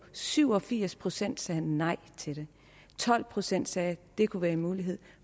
syv og firs procent sagde nej til det tolv procent sagde at det kunne være en mulighed